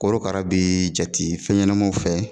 Korokara bɛ jate fɛn ɲɛnamaw fɛ.